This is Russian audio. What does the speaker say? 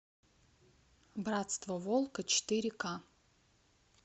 братство волка четыре ка